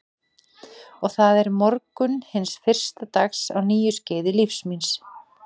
Og það er morgunn hins fyrsta dags á nýju skeiði lífs míns.